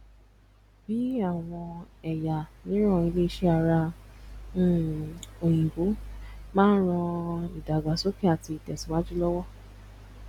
bí àwọn ẹyà miran ilẹ ìṣe ara um oyinbo má ń rán idagbasoke àti itesiwaju lowo